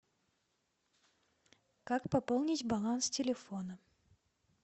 как пополнить баланс телефона